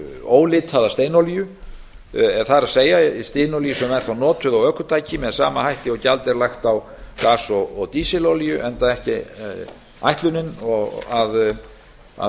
ólitaða steinolíu það er steinolíu sem er þá notuð á ökutæki með sama hætti og gjald er lagt á gas og dísilolíu enda ekki ætlunin að